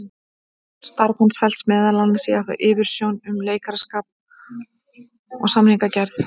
Starf hans felst meðal annars í að hafa yfirsjón um leikmannakaup og samningagerð.